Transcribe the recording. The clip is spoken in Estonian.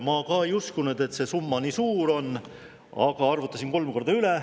Ma ka ei uskunud, et see summa nii suur on, aga ma arvutasin kolm korda üle.